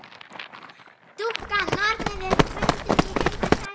Dúkkan,- nornin,- er bundin í Heita sætið.